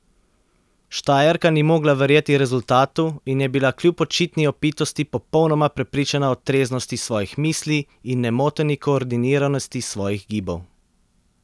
Štajerka ni mogla verjeti rezultatu in je bila kljub očitni opitosti popolnoma prepričana o treznosti svojih misli in nemoteni koordiniranosti svojih gibov.